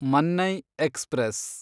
Mannai express